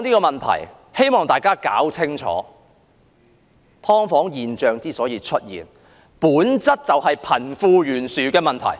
我希望大家搞清楚一點，"劏房"現象之所以出現，本質就是貧富懸殊的問題。